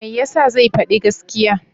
Me ya sa zai faɗi gaskiya?